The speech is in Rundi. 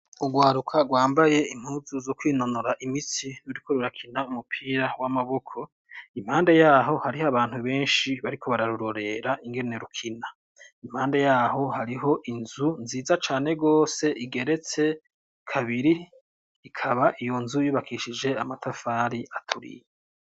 Urwaruka rwambaye impuzu zo kwinonora imitsi ruriko rurakina umupira w'amaboko, impande yaho hariho abantu benshi bariko bararurorera ingene rukina, impande yaho hariho inzu nziza cane gose igeretse kabiri, ikaba iyo nzu yubakishije amatafari aturiye.